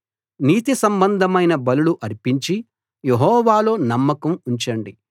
నీతి సంబంధమైన బలులు అర్పించి యెహోవాలో నమ్మకం ఉంచండి